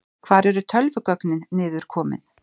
Hvar eru tölvugögnin niður komin?